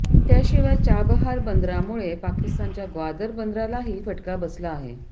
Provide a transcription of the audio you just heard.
त्याशिवाय चाबहार बंदरामुळे पाकिस्तानच्या ग्वादर बंदरालाही फटका बसला आहे